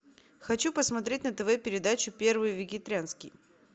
хочу посмотреть на тв передачу первый вегетарианский